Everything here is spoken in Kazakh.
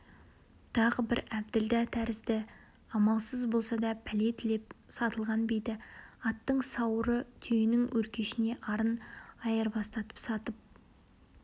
тағы бір әбділдә тәрізді амалсыз болса да пәле тілеп сатылған биді аттың сауыры түйенің өркешіне арын айырбастатып сатып